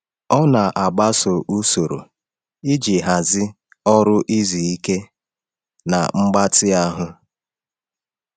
Ọ na-agbaso usoro iji hazi ọrụ, izu ike, na mgbatị ahụ.